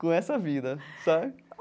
com essa vida, sabe?